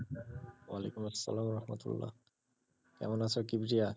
ওয়ালিকুম আসালাম আলহামদুলিল্লা, কেমন আছো কি